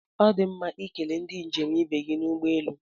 Ọ dị mma ikele ndị njem ibe gị n'ụgbọelu